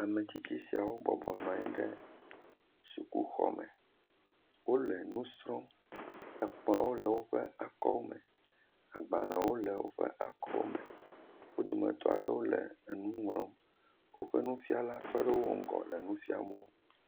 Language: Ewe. Ametsitsi siawo bɔbɔnɔ anyi ɖe sukuxɔ me wole nu srɔ̃m, ekplɔ le woƒe akɔme, agbalẽ le woƒe akɔme, wo dometɔ aɖewo le nu ŋlɔm, woƒe nufiala tɔ ɖe woƒe ŋgɔ le nu fiam wo.